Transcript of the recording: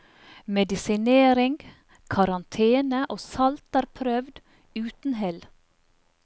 Medisinering, karantene og salt er prøvd, uten hell.